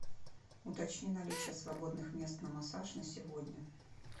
уточни наличие свободных мест на массаж на сегодня